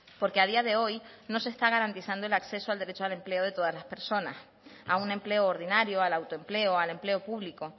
porque a día de hoy no se está garantizando el acceso al derecho al empleo de todas las personas a un empleo ordinario al autoempleo al empleo público